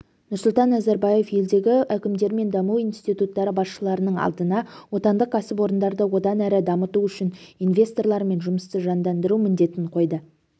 нұрсұлтан назарбаев елдегі әкімдер мен даму институттары басшыларының алдына отандық кәсіпорындарды одан әрі дамыту үшін инвесторлармен жұмысты жандандыру міндетін қойды